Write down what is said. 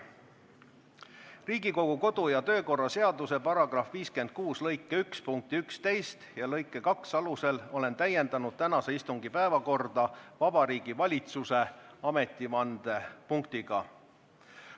Riigikogu kodu- ja töökorra seaduse § 56 lõike 1 punkti 11 ja lõike 2 alusel olen täiendanud tänase istungi päevakorda Vabariigi Valitsuse ametivande punktiga.